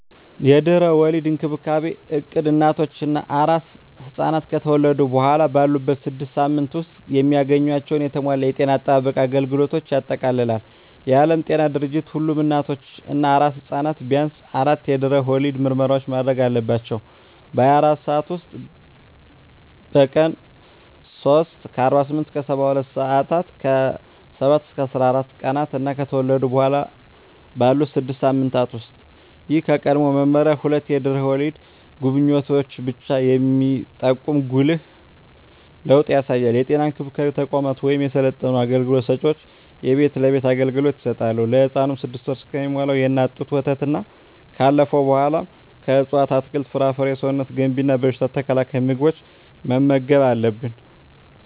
የድህረ ወሊድ እንክብካቤ እቅድ እናቶች እና አራስ ሕፃናት ከተወለዱ በኋላ ባሉት ስድስት ሳምንታት ውስጥ የሚያገኟቸውን የተሟላ የጤና አጠባበቅ አገልግሎቶችን ያጠቃልላል። የዓለም ጤና ድርጅት ሁሉም እናቶች እና አራስ ሕፃናት ቢያንስ አራት የድህረ ወሊድ ምርመራዎችን ማድረግ አለባቸው - በ24 ሰዓት ውስጥ፣ በቀን 3 (48-72 ሰአታት)፣ ከ7-14 ቀናት እና ከተወለዱ በኋላ ባሉት 6 ሳምንታት ውስጥ። ይህ ከቀድሞው መመሪያ ሁለት የድህረ ወሊድ ጉብኝቶችን ብቻ የሚጠቁም ጉልህ ለውጥ ያሳያል። የጤና እንክብካቤ ተቋማት ወይም የሰለጠኑ አገልግሎት ሰጭዎች የቤት ለቤት አገልግሎት ይሰጣሉ። ለህፃኑም 6ወር እስኪሞላው የእናት ጡት ወተትና ካለፈው በኃላ ከእፅዋት አትክልት፣ ፍራፍሬ ሰውነት ገንቢ እና በሽታ ተከላካይ ምግቦችን መመገብ አለብን